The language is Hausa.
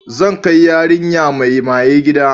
Zan kai yarinya mai maye gida.